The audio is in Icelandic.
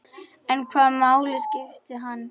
En hvaða máli skiptir hann?